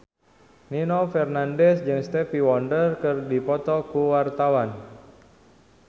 Nino Fernandez jeung Stevie Wonder keur dipoto ku wartawan